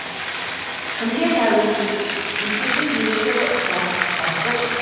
кімге тәуелдісіз мектептің директоры ұстаз бастық